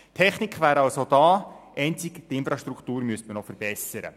Die Technik wäre also da, einzig die Infrastruktur müsste man noch verbessern.